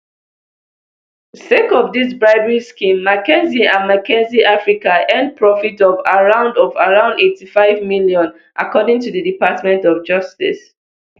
sake of dis bribery scheme mckinsey and mckinsey africa earn profits of around of around eighty-five million according to di department of justice